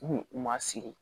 U ma sigi